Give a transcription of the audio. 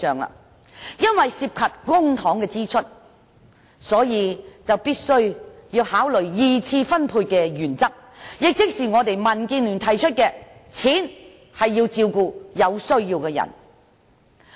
由於涉及公帑支出，所以必須考慮二次分配的原則，亦即民建聯提出的"錢是要用來照顧有需要的人"。